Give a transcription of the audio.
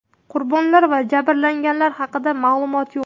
Qurbonlar va jabrlanganlar haqida ma’lumot yo‘q.